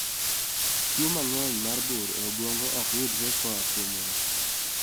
Tuo mang'eny mar bur e obwongo ok yudre koa kuom wat